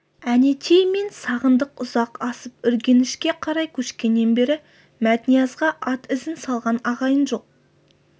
әнетей мен сағындық ұзақ асып үргенішке қарай көшкеннен бері мәтниязға ат ізін салған ағайын жоқ